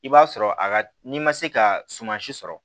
I b'a sɔrɔ a ka n'i ma se ka sumansi sɔrɔ